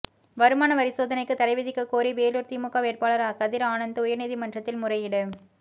வருமான வரிசோதனைக்கு தடை விதிக்கக்கோரி வேலூர் திமுக வேட்பாளர் கதிர் ஆனந்த் உயர்நீதிமன்றத்தில் முறையீடு